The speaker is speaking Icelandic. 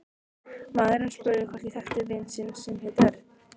Maðurinn spurði hvort ég þekkti vin sinn sem héti Örn